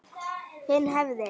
Hinn hefði